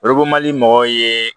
mɔgɔw ye